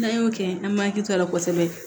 N'an y'o kɛ an m'an hakili to a la kosɛbɛ